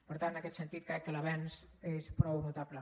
per tant en aquest sentit crec que l’avenç és prou notable